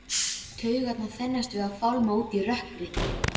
Taugarnar þenjast við að fálma út í rökkrið.